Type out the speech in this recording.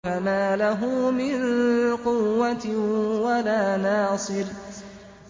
فَمَا لَهُ مِن قُوَّةٍ وَلَا نَاصِرٍ